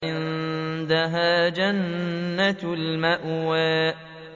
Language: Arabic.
عِندَهَا جَنَّةُ الْمَأْوَىٰ